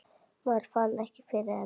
Maður fann ekki fyrir henni.